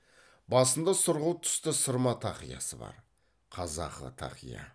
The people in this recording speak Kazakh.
басында сұрғылт түсті сырма тақиясы бар қазақы тақия